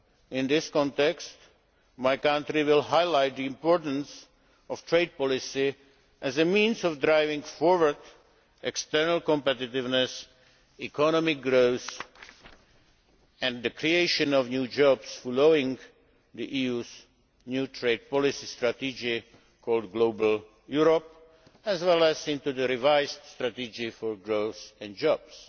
In this context my country will highlight the importance of trade policy as a means of driving forward external competitiveness, economic growth and the creation of new jobs following the EU's new trade policy strategy called Global Europe, as well as under the revised strategy for growth and jobs.